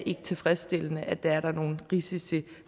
tilfredsstillende og at der er nogle risici